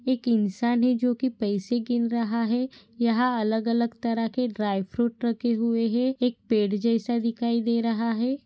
एक इंसान है जो की पैसे गिन रहा है यहा अलग अलग तरह के ड्राय फ्रुट रखे हुए है एक पेड़ जैसा दिखाई दे रहा है।